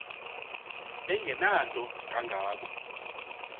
engenanto kanga ko